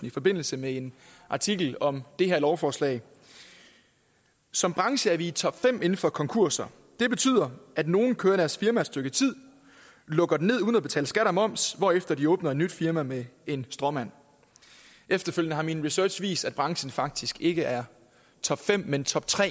i forbindelse med en artikel om det her lovforslag som branche er vi i topfem inden for konkurser det betyder at nogle kører deres firma et stykke tid lukker det ned uden at betale skat og moms hvorefter de åbner et nyt firma med en stråmand efterfølgende har min research vist at branchen faktisk ikke er topfem men toptre